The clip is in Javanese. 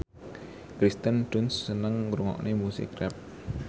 Kirsten Dunst seneng ngrungokne musik rap